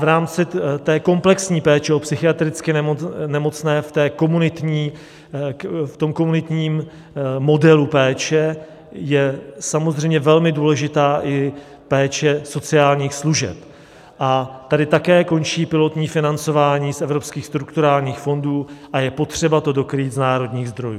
V rámci té komplexní péče o psychiatricky nemocné v tom komunitním modelu péče je samozřejmě velmi důležitá i péče sociálních služeb, a tady také končí pilotní financování z evropských strukturálních fondů a je potřeba to dokrýt z národních zdrojů.